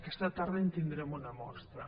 aquesta tarda en tindrem una mostra